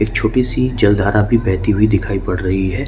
एक छोटी सी जलधारा भी बहती हुई दिखाई पड़ रही हैं।